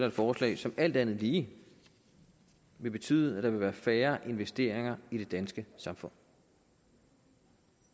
et forslag som alt andet lige vil betyde at der vil være færre investeringer i det danske samfund